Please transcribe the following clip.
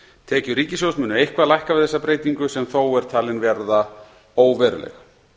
tekjur ríkissjóðs munu eitthvað lækka við þessa breytingu sem þó er talin verða óveruleg